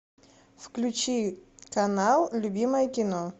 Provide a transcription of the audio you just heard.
включи канал любимое кино